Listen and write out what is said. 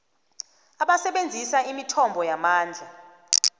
abasebenzisa imithombo yamandla